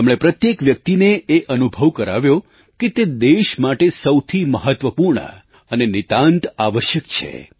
તેમણે પ્રત્યેક વ્યક્તિને એ અનુભવ કરાવ્યો કે તે દેશ માટે સૌથી મહત્ત્વપૂર્ણ અને નિતાંત આવશ્યક છે